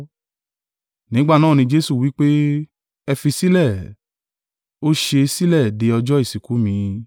Nígbà náà ni Jesu wí pé, “Ẹ fi í sílẹ̀, ó ṣe é sílẹ̀ de ọjọ́ ìsìnkú mi.